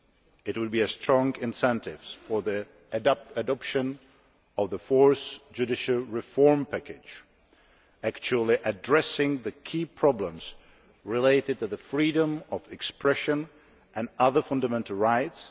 it would be a strong incentive for the adoption of the Fourth Judicial Reform Package, actually addressing the key problems related to freedom of expression and other fundamental rights